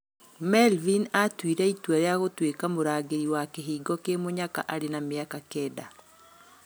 Melvin aatuire itua rĩa gũtuĩka mũrangĩri wa kĩhingo kĩmunyaka arĩ na mĩaka kenda.